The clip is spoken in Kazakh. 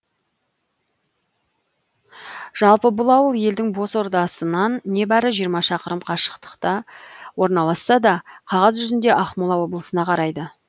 жалпы бұл ауыл елдің бас ордасынан небәрі жиырма шақырым қашықтықта орналасса да қағаз жүзінде ақмола облысына қарайды